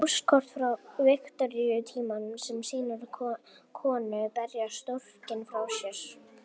Póstkort frá Viktoríutímanum sem sýnir konu berja storkinn frá sér.